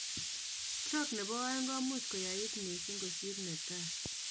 Stroke nebo oeng komuch koyait missing kosir netai